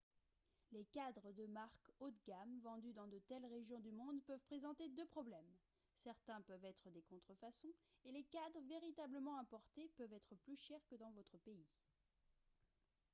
les cadres de marque haut de gamme vendus dans de telles régions du monde peuvent présenter deux problèmes certains peuvent être des contrefaçons et les cadres véritablement importés peuvent être plus chers que dans votre pays